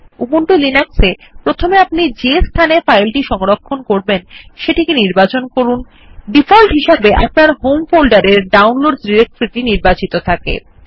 Ubuntu লিনাক্সে প্রথনে আপনি যে স্থানে ফাইলটি সংরক্ষণ করবেন সেটি নির্বাচন করুন ই ডিফল্ট হিসাবে আপনার হোম ফোল্ডার এর ডাউনলোডস ডিরেকটরি টি নির্বাচিত থাকে